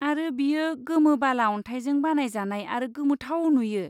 आरो बेयो गोमो बाला अनथाइजों बानायजानाय आरो गोमोथाव नुयो।